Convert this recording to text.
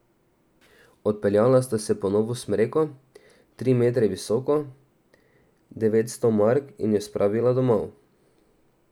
Odpeljala sta se po novo smreko, tri metre visoko, devetsto mark, in jo spravila domov.